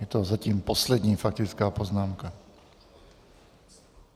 Je to zatím poslední faktická poznámka.